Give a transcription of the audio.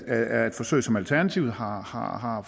er et forsøg som alternativet har har